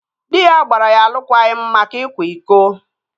Dị ya gbara ya alụkwaghịm maka ịkwa iko